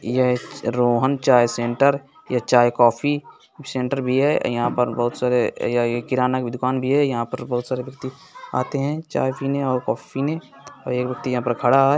ये रोहन चाय सेंटर या चाय-कॉफी सेंटर भी है यहां पर बहुत सारे या ये किराने का दुकान भी है यहां पर बहुत सारे व्यक्ति आते है चाय पीने और कॉफी पीने और एक व्यक्ति यहां पर खड़ा है।